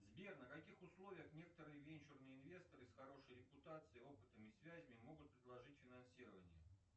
сбер на каких условиях некоторые венчурные инвестуры с хорошей репутацией опытом и связями могут предложить финансирование